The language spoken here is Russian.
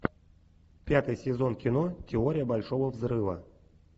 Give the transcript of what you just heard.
пятый сезон кино теория большого взрыва